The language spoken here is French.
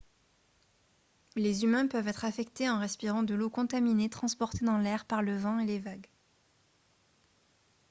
les humains peuvent être affectés en respirant de l'eau contaminée transportée dans l'air par le vent et les vagues